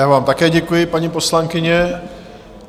Já vám také děkuji, paní poslankyně.